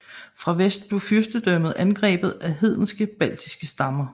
Fra vest blev fyrstedømmet angrebet af hedenske baltiske stammer